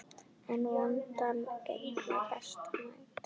En vonandi gengur betur næst.